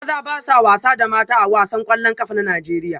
Maza ba sa wasa da mata A wasan kwallon kafa na Najeriya